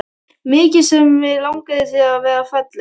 Mikið sem mig langaði til að vera falleg.